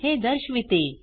हे दर्शविते